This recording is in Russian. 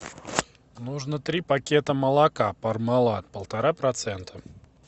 нужно три пакета молока пармалат полтора процента